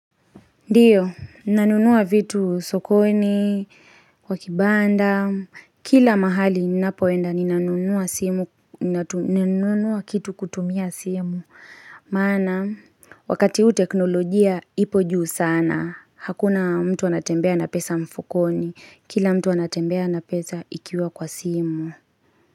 Ndiyo, nanunua vitu sokoni, kwa kibanda, kila mahali ninapoenda ninanunua kitu kutumia simu, maana wakati huu teknolojia ipo juu sana, hakuna mtu anatembea na pesa mfukoni, kila mtu anatembea na pesa ikiwa kwa simu.